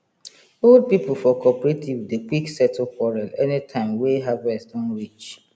old people for cooperative dey quick settle quarrel anytime wey harvest don reach